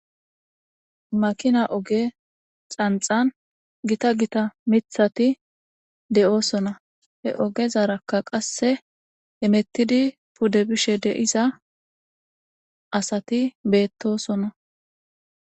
Makina oge xanxan gita gita mithati de'oosona he ogezarakka qasse emettidi pude bishe deiza asati beettosona.